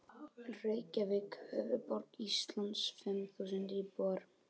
Reykjavík, höfuðborg Íslands, fimm þúsund íbúar.